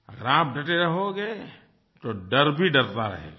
अगर आप डटे रहोगे तो डर भी डरता रहेगा